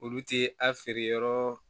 Olu ti a feere yɔrɔ